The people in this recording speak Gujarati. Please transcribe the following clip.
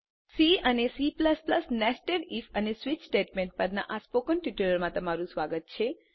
સી અને C નેસ્ટેડ ઇફ અને સ્વિચ સ્ટેટમેન્ટ પરના સ્પોકન ટ્યુટોરીયલમાં તમારું સ્વાગત છે